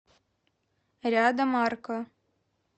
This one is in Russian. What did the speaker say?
рядом арка